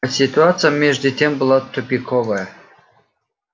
а ситуация между тем была тупиковая